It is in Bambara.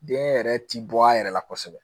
Den yɛrɛ ti bɔ a yɛrɛ la kosɛbɛ